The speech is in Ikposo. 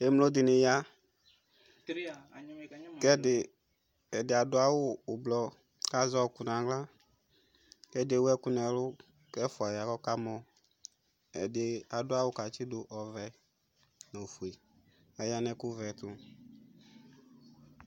Ɛmlo di ni ya kʋ ɛdi, ɛdi adʋ awʋ ʋblʋɔ kʋ azɛ ɔɔkʋ n'aɣla kʋ ɛdi ewʋ ɛkʋ n'ɛlʋ kʋ ɛfua ya kamɔ Ɛdi adʋ awʋ katsi dʋ ɔvɛ nʋ ofue kʋ aya nʋ ɛkʋ vɛ tʋ